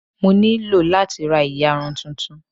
Mo nílò láti ra ìyarun tuntun.